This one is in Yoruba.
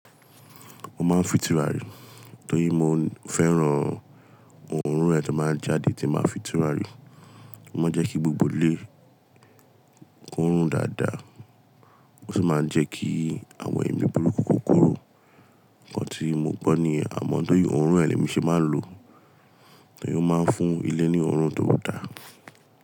Mo máa ń fin tùràrí torí mo fẹ́ràn òórùn ẹ tó máa ń jáde tí n ba fi tùràrí. Ó máa ń jẹ́ kí gbogbo ilé kó rùn dáadáa, ó sì máa ń jẹ́ kí àwọn ẹ̀mí burúkú kó korò. Ǹkan tí mo gbọ́ ni yen, àmọ́ tóri òórùn ẹ ni emi ṣe máa ń lò, torí ó máa ń fún ilé ní òórùn tó dáa.